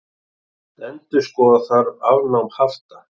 Endurskoða þarf afnám hafta